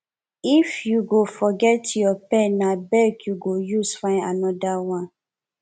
if you go forget your pen na beg you go use fyn another one